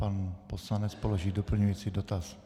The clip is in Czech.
Pan poslanec položí doplňující dotaz.